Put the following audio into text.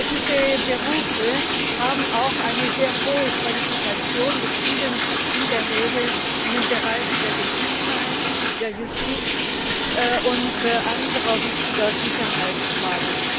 Diese Berufe haben auch eine sehr hohe Qualifikation, befinden sich in der Regel in den Bereichen der Gesundheit, der Justiz und anderer wichtiger Sicherheitsfragen.